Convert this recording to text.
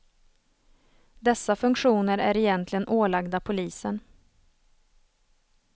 Dessa funktioner är egentligen ålagda polisen.